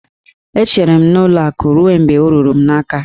E chere m n'ụlọ akụ ruo mgbe ọ ruru m n'aka